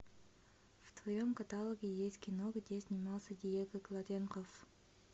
в твоем каталоге есть кино где снимался диего клаттенхофф